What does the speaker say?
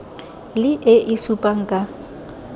le e e supang ka